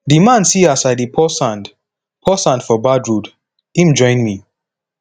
di man see as i dey pour sand pour sand for bad road im join me